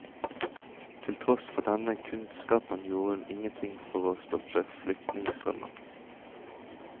Til tross for denne kunnskapen gjorde hun ingenting for å stoppe flyktningestrømmen.